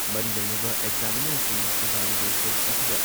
ꯃꯔꯤ ꯂꯩꯅꯕ ꯑꯦꯛꯖꯥꯃꯤꯅꯔꯁꯤꯡꯅ ꯏꯚꯥꯂꯨꯑꯦꯁꯟ ꯑꯁꯤꯗ